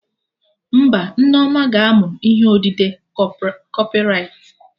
Mba, Nneoma ga-amụ ihe odide Kọpịwritin